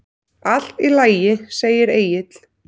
Allt í lagi, segir Egill.